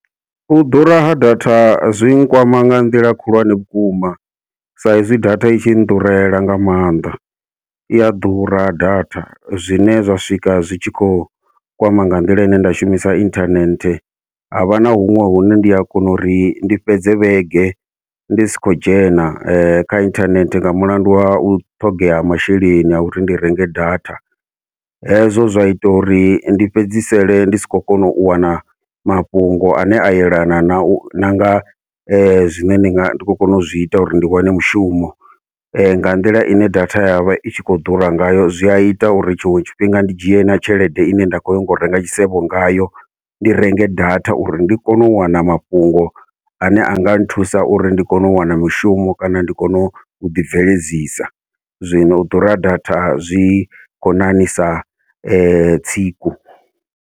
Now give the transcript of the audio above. U ḓura ha data zwi nkwama nga nḓila khulwane vhukuma, sa izwi data itshi nḓurela nga maanḓa iya ḓura data zwine zwa swika zwi tshi khou kwama nga nḓila ine nda shumisa inthanethe, havha na huṅwe hune ndi a kona uri ndi fhedze vhege ndi si khou dzhena kha inthanethe nga mulandu wa u ṱhogea ha masheleni ha uri ndi renge data. Hezwo zwa ita uri ndi fhedzisele ndi si khou kona u wana mafhungo ane a yelana nau nanga zwine ndi nga ndi khou kona u zwi ita uri ndi wane mushumo, nga nḓila ine data yavha itshi khou ḓura ngayo zwi a ita uri tshiṅwe tshifhinga ndi dzhie na tshelede ine nda khou nyaga u renga tshisevho ngayo ndi renge data uri ndi kone u wana mafhungo ane anga nthusa uri ndi kone u wana mishumo kana ndi kone u ḓi bveledzisa, zwino u ḓura ha data zwi khou ṋaṋisa tsiku.